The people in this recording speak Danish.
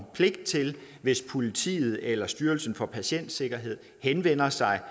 pligt til hvis politiet eller styrelsen for patientsikkerhed henvender sig